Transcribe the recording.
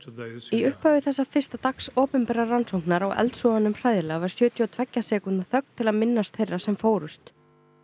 í upphafi þessa fyrsta dags opinberrar rannsóknar á eldsvoðanum hræðilega var sjötíu og tveggja sekúndna þögn til að minnast þeirra sem fórust